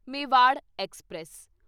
Mewar express